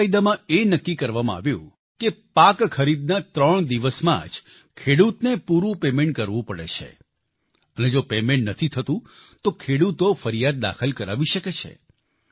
આ કાયદામાં એ નક્કી કરવામાં આવ્યું કે પાક ખરીદના ત્રણ દિવસમાં જ ખેડૂતને પૂરું પેમેન્ટ કરવું પડે છે અને જો પેમેન્ટ નથી થતું તો ખેડૂતો ફરિયાદ દાખલ કરાવી શકે છે